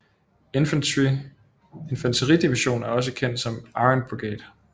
Infanteri Division er også kendt som Iron Brigade